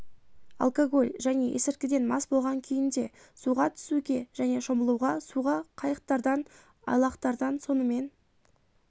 алкоголь және есірткіден мас болған күйінде суға түсуге және шомылуға суға қайықтардан айлақтардан сонымен